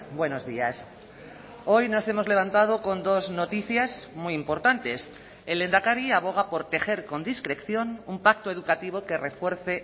buenos días hoy nos hemos levantado con dos noticias muy importantes el lehendakari aboga por tejer con discreción un pacto educativo que refuerce